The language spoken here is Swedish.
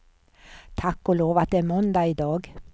Tack och lov att det är måndag i dag.